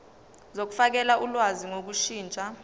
zokufakela ulwazi ngokushintsha